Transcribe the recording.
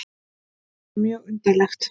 Þetta var mjög undarlegt.